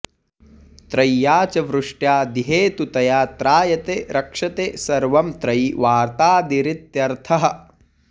त्रय्या च वृष्ट्या दिहेतुतया त्रायते रक्षते सर्वं त्रयी वार्तादिरित्यर्थः